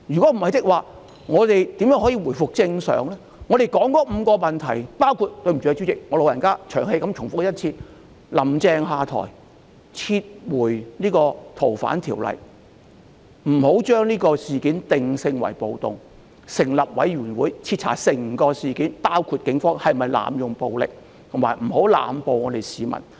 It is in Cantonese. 我們提出的5項訴求，主席，很抱歉，請恕我"老人家"長氣重複一次："林鄭"下台、撤回條例草案、不要把事件定性為暴動、成立委員會徹查整宗事件，包括警方有否濫用武力，以及不要濫捕市民。